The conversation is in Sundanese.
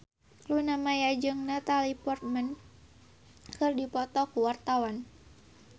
Luna Maya jeung Natalie Portman keur dipoto ku wartawan